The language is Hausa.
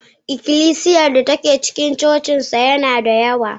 ikilisiyar da ke cikin cocinsa tana da yawa